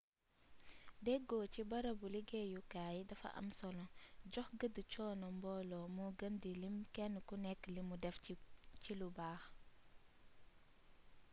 deggo ci barabu liggéeyukaay dafa am solo jox gëdd coono mboolo moo gën di lim kenn ku nekk li mu def ci lu baax